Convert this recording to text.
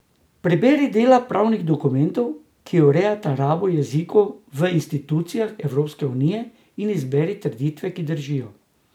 Preberi dela pravnih dokumentov, ki urejata rabo jezikov v institucijah Evropske unije, in izberi trditve, ki držijo.